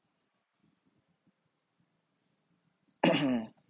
म्म्म